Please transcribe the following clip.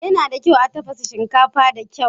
Yana da kyau a tafasa shinkafar da kyau.